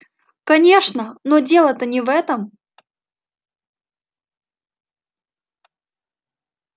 конечно но дело-то не в этом